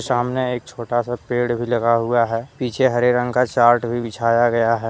सामने एक छोटा सा पेड़ भी लगा हुआ है पीछे हरे रंग का चार्ट भी बिछाया गया है।